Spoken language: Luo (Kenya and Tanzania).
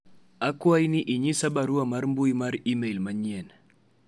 akwayi ni inyis nyis barua mar mbui mar email manyien